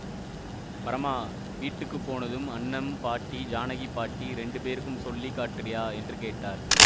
பரமா வீட்டுக்கு போனதும் அன்னம் பாட்டி ஜானகிப் பாட்டி ரெண்டு பேருக்கும் சொல்லி காட்டிறியா என்று கேட்டார்